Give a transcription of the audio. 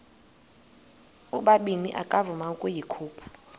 ubabini akavuma ukuyikhupha